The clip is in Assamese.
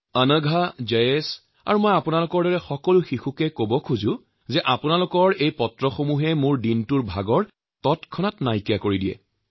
অংঘা জায়েশৰ দৰে সকলো শিশুক কব খোজো যে তেওঁলোকে প্ৰেৰণ কৰা সকলো চিঠি পঢ়িলে মোৰ সমগ্ৰ দিনৰ ভাগৰ পৰিশ্ৰম একেবাৰে ছুমন্তৰ হৈ উৰি যায়